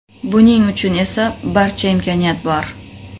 Buning uchun esa barcha imkoniyat bor!